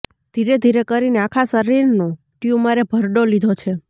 ધીરે ધીરે કરીને આખા શરીરનો ટ્યૂમરે ભરડો લીધો છે